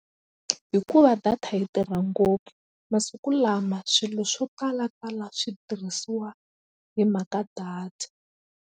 Hikuva data yi tirha ngopfu masiku lama swilo swo talatala switirhisiwa hi mhaka data.